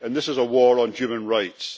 and this is a war on human rights.